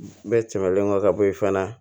Bɛɛ tɛmɛnen kɔ ka bɔ yen fana